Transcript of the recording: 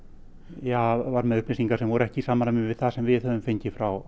ja var með upplýsingar sem voru ekki í samræmi við það sem við höfum fengið frá